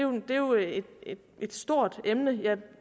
er jo et et stort emne jeg